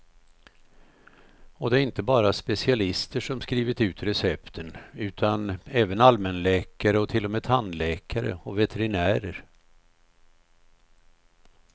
Och det är inte bara specialister som skrivit ut recepten, utan även allmänläkare och till och med tandläkare och veterinärer.